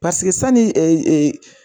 Paseke